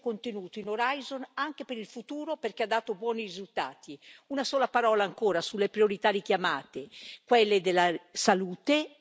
Una sola parola ancora sulle priorità richiamate quelle della salute, elemento essenziale per la vita dei cittadini, e quelle del clima.